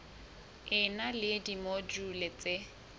e na le dimojule tse